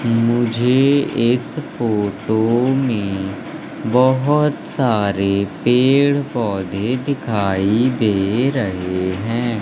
मुझे इस फोटो में बहोत सारे पेड़ पौधे दिखाई दे रहे है।